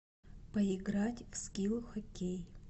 поиграть в скилл хоккей